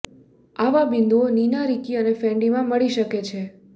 આવા બિંદુઓ નીના રિકી અને ફેન્ડીમાં મળી શકે છે